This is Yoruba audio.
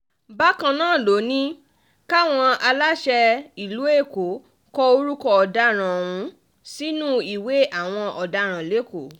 bákan náà ló ní káwọn aláṣẹ ìlú èkó kọ orúkọ ọ̀daràn ọ̀hún sínú ìwé àwọn ọ̀daràn lẹ́kọ̀ọ́